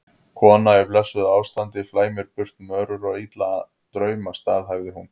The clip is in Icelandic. Kona í blessuðu ástandi flæmir burt mörur og illa drauma, staðhæfði hún.